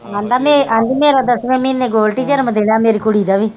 ਆਂਦਾ ਆਂਦੀ ਮੇਰਾ ਦਸਵੇਂ ਮਹੀਨੇ ਗੋਲਡੀ ਜਨਮ ਦਿਨ ਆ ਮੇਰੀ ਕੁੜੀ ਦਾ ਵੀ।